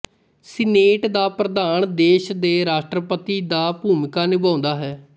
senate ਦਾ ਪ੍ਰਧਾਨ ਦੇਸ਼ ਦੇ ਰਾਸ਼ਟਰਪਤੀ ਦਾ ਭੂਮਿਕਾ ਨਿਭਾਉਂਦਾ ਹੈ